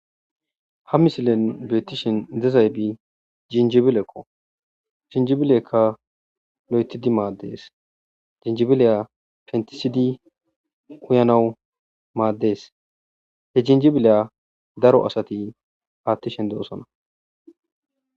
Ha misilen beettishen dezaybi jinjibilekko jinjibilekka lo'etidi maaddees jinjibileya pentisidi uyanawu maaddees he jinjibileya daro asati paattishen deosona